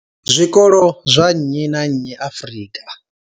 Zwikolo zwa nnyi na nnyi Afrika.